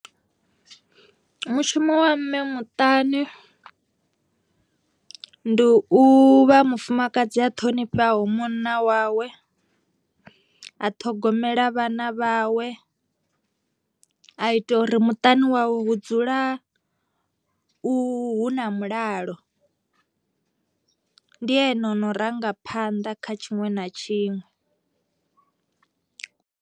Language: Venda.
Mushumo wa mme muṱani ndi u vha mufumakadzi a ṱhonifheaho munna wawe, a ṱhogomela vhana vhawe, a ita uri muṱani wawe hu dzula u hu na mulalo, ndi ene o no rangaphanḓa kha tshiṅwe na tshiṅwe.